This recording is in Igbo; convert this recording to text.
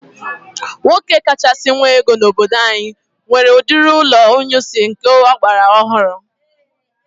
Nwoke kachasị nwe ego n'obodo anyị nwere udiri ụlọ inyunsi nke agbara ọhụrụ